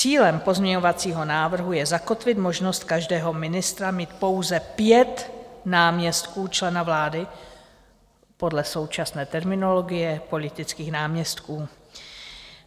Cílem pozměňovacího návrhu je zakotvit možnost každého ministra mít pouze pět náměstků člena vlády podle současné terminologie politických náměstků.